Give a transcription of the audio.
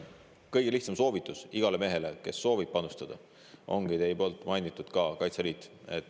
Kõige lihtsam soovitus igale mehele, kes soovib panustada, ongi teie mainitud Kaitseliit.